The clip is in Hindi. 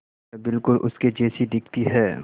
वह बिल्कुल उसके जैसी दिखती है